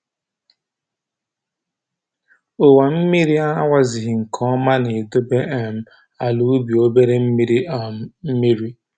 Owa mmiri na-awazighị nke ọma na-edobe um ala ubi obere mmiri um mmiri